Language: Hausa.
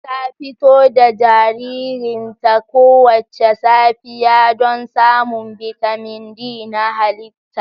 Ta fito da jaririnta kowace safiya don samun bitamin D na halitta